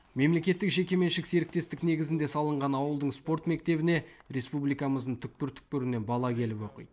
мемлекеттік жекеменшік серіктестік негізінде салынған ауылдың спорт мектебіне республикамыздың түкпір түкпірінен бала келіп оқиды